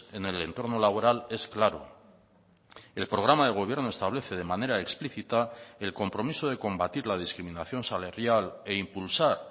en el entorno laboral es claro el programa de gobierno establece de manera explícita el compromiso de combatir la discriminación salarial e impulsar